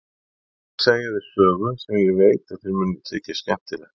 Ég þarf að segja þér sögu sem ég veit að þér mun þykja skemmtileg.